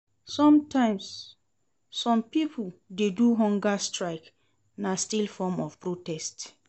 Sometimes some pipo de do hunger strike na still form of protest